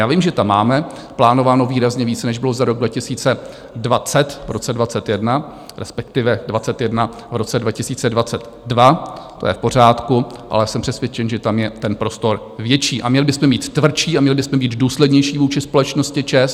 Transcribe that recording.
Já vím, že tam máme plánováno výrazně více, než bylo za rok 2020, v roce 2021, respektive 2021 v roce 2022, to je v pořádku, ale jsem přesvědčen, že tam je ten prostor větší, a měli bychom mít tvrdší a měli bychom být důslednější vůči společnosti ČEZ.